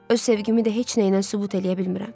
Öz sevgimi də heç nəylə sübut eləyə bilmirəm.